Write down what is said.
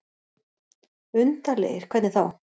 Undarlegir. hvernig þá?